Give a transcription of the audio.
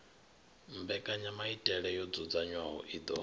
mbekanyamaitele yo dzudzanywaho i ḓo